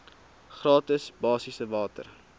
gratis basiese water